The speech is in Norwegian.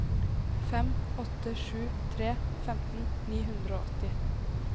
fem åtte sju tre femten ni hundre og åtti